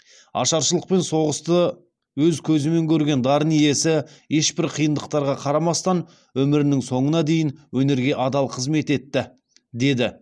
ашаршылық пен соғысты өз көзімен көрген дарын иесі ешбір қиындықтарға қарамастан өмірінің соңына дейін өнерге адал қызмет етті деді